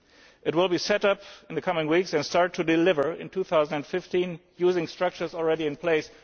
It will be set up in the coming weeks and start to deliver in 2015 using structures already in place.